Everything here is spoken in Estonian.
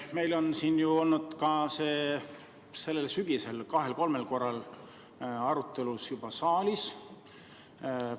Meil on ju sellel sügisel kahel või kolmel korral see arutelu juba saalis olnud.